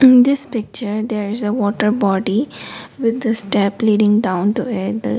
in this picture there is a water body with the step leading down to a .